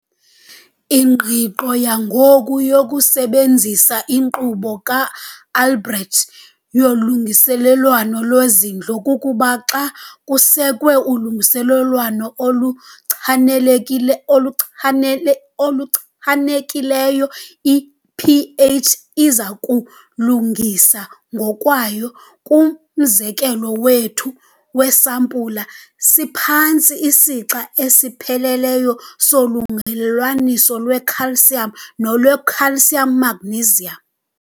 Ingqiqo yangoku yokusebenzisa inkqubo kaAlbrecht yolungelelwaniso lwezindlo kukuba xa kusekwe ulungelelwaniso oluchanekile oluchanele oluchanekileyo, i-pH iza kuzilungisa ngokwayo. Kumzekelo wethu weesampula siphantsi isixa esipheleleyo solungelelwaniso lwe-calcium nolwe-calcium magnesium.